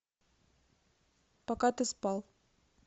пока ты спал